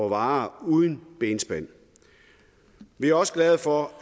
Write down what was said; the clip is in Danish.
varer uden benspænd vi er også glade for